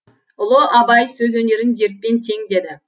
ұлы абай сөз өнерін дертпен тең деді